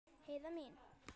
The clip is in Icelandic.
Heiða mín.